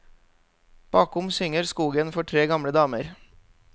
Bakom synger skogen for tre gamle damer.